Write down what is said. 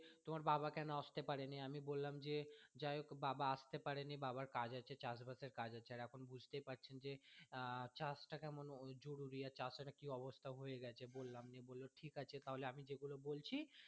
তোমার বাবা কেন আসতে পারেনি আমি বললাম যে যাহোক বাবা আসতে পারেনি বাবার কাজ আছে চাষ বাসের কাজ আছে আর এখন বুঝতেই পারছেন যে আহ চাষ টা কেমন জরুরি আর চাষের একটা কি অবস্থা হয়ে গেছে বললাম দিয়ে বললো ঠিক আছে দিয়ে আমি যেগুলো বলছি